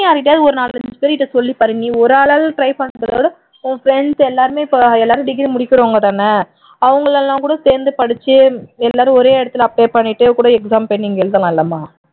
நீ யார் கிட்டையாவது ஒரு நாலஞ்சு பேர்கிட்ட சொல்லிப்பார் நீ ஒரு ஆளா try பண்றதை விட உன் friends இப்ப எல்லாருமே degree முடிக்கிறவுங்க தான அவங்களெல்லாம் கூட சேர்ந்து படிச்சு எல்லாரும் ஒரே இடத்துல apply பண்ணிட்டே கூட exam போய் நீங்க எழுதலாம் இல்லமா